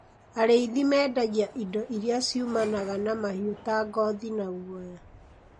Arĩithi mendagia indo iria ciumanaga na mahiũ ta ngothi na guoya.